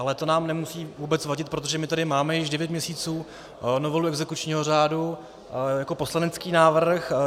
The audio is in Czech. Ale to nám nemusí vůbec vadit, protože my tady máme již devět měsíců novelu exekučního řádu jako poslanecký návrh.